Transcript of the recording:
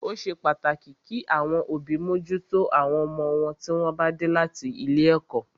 Ó ṣe pàtàkì kí àwọn òbí mójútó àwọn ọmọ wọn tí wọ́n bá dé láti ilé ẹ̀kọ́.